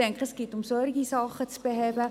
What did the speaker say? Es geht darum, solche Dinge zu beheben.